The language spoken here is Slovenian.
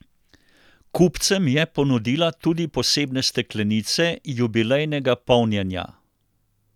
Kupcem je ponudila tudi posebne steklenice jubilejnega polnjenja.